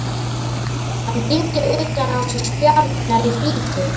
Hann týndi utan á sig spjarirnar í flýti.